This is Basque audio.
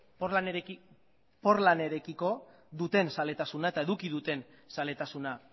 portlanerekiko duten zaletasuna eta eduki duten zaletasuna